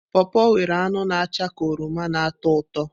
pọọpọ nwere anụ na acha ka oroma na ụtọ ụtọ.